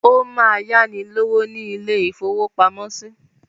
Ó máa yáni lówó ní ilé-ìfowópamọ́sí.